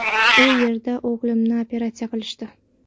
U yerda o‘g‘limni operatsiya qilishdi.